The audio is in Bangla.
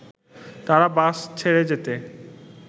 তারা বাস ছেড়ে যেতে